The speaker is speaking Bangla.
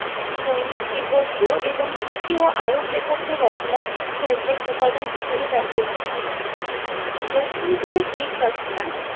জৈনিক, তিব্বতীয় এবং তুর্কি ও আরব লেখকদের রচনায় ইতিহাসের উপাদান হিসাবে ব্যবহৃত হয়। প্রথম যুগের গ্রিক রচনা